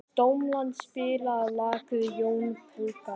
Dómald, spilaðu lagið „Jón Pönkari“.